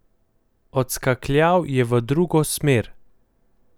Odskakljal je v drugo smer.